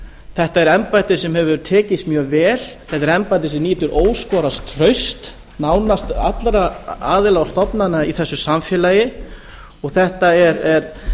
þetta er embætti sem hefur tekist mjög vel þetta er embætti sem nýtur óskoraðs trausts nánast allra aðila og stofnana í þessu samfélagi og þetta er